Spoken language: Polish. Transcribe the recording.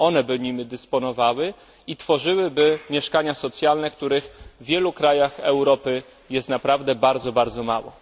one by nimi dysponowały i tworzyłyby mieszkania socjalne, których w wielu krajach Europy jest naprawdę bardzo, bardzo mało.